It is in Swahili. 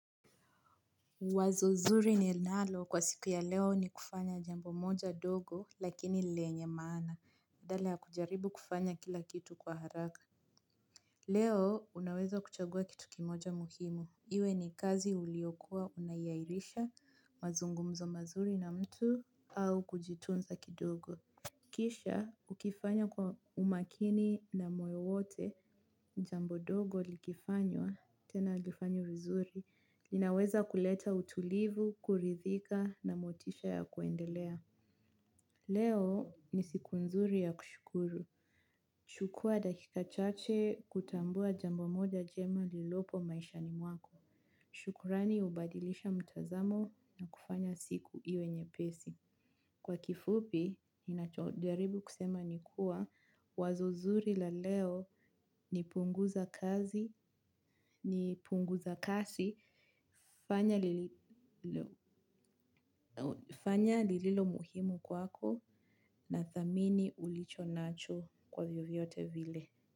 Wazo zuri ninalo kwa siku ya leo ni kufanya jambo moja dogo lakini lenye maana. Badala ya kujaribu kufanya kila kitu kwa haraka. Leo unaweza kuchagua kitu kimoja muhimu. Iwe ni kazi uliokua unaiairisha mazungumzo mazuri na mtu au kujitunza kidogo. Kisha ukifanya kwa umakini na moyo wote jambo dogo likifanywa tena lifanywe vizuri. Linaweza kuleta utulivu, kuridhika na motisha ya kuendelea. Leo ni siku nzuri ya kushukuru. Chukua dakika chache kutambua jambo moja jema lilopo maishani mwako. Shukurani hubadilisha mtazamo na kufanya siku iwe nyepesi. Kwa kifupi, ninacho jaribu kusema ni kuwa wazo zuri la leo ni punguza kazi, ni punguza kasi. Fanya lililo muhimu kwako na thamini ulicho nacho kwa vyovyote vile.